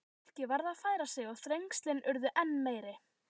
Fólkið varð að færa sig og þrengslin urðu enn meiri.